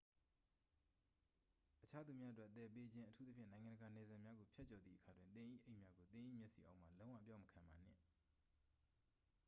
အခြားသူများအတွက်သယ်ပေးခြင်း အထူးသဖြင့် နိုင်ငံတကာနယ်စပ်များကို ဖြတ်ကျော်သည့်အခါတွင် သင်၏အိတ်များကို သင်၏မျက်စိအောက်မှ လုံးဝအပျောက်မခံပါနှင့်